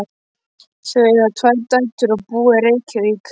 Þau eiga tvær dætur og búa í Reykjavík.